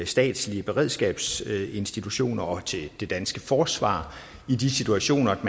statslige beredskabsinstitutioner og til det danske forsvar i de situationer